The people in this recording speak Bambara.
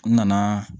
N nana